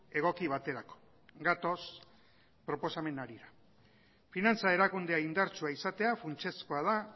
egoki baterako gatoz proposamen harira finantza erakundea indartsua izatea funtsezkoa da